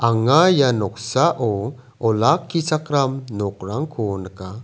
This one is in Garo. anga ia noksao olakichakram nokrangko nika.